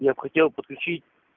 я бы хотел подключить